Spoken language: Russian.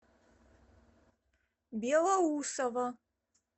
белоусово